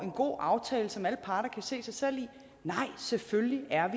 en god aftale som alle parter kan se sig selv i nej selvfølgelig er